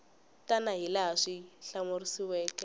tana hi laha swi hlamuseriweke